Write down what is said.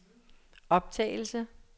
optagelse